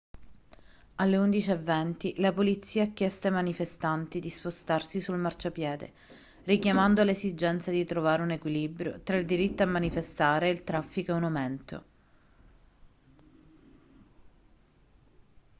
alle 11:20 la polizia ha chiesto ai manifestanti di spostarsi sul marciapiede richiamando l'esigenza di trovare un equilibrio tra il diritto a manifestare e il traffico in aumento